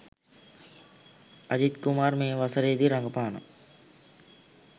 අ‍ජිත්‍ ‍කු‍මාර් ‍මේ ‍ව‍ස‍රේ‍දී ‍ර‍ග ‍පා‍න